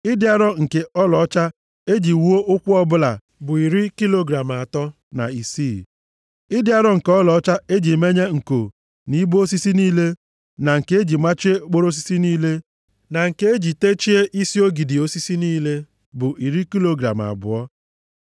Ịdị arọ nke ọlaọcha e ji menye nko nʼibo osisi niile, na nke e ji machie okporo osisi niile, na nke e ji techie isi ogidi osisi niile, bụ iri kilogram abụọ.